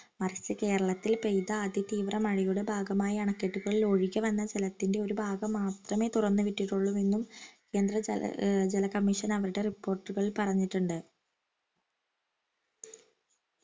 first കേരളത്തിൽ പെയ്ത അതിതീവ്ര മഴയുടെ ഭാഗമായി അണക്കെട്ടുകളിൽ ഒഴുകി വന്ന ജലത്തിന്റെ ഒരു ഭാഗം മാത്രമേ തുറന്നുവിട്ടിട്ടുള്ളു എന്നും കേന്ദ്ര ജല commission അവരുടെ report ഉകളിൽ പറഞ്ഞിട്ടുണ്ട്